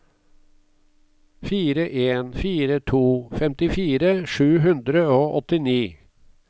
fire en fire to femtifire sju hundre og åttini